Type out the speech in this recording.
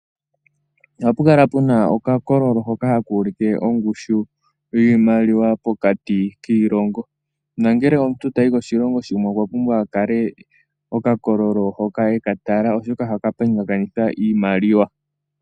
Ohapu kala puna oka kololo hoka haka ulike ongushu yiimaliwa pokati kiilongo. Nangele omuntu tayi koshilongo shimwe, okwa pumbwa akale oka kololo hoka eka tala, oshoka ohaka pingakanitha iimaliwa.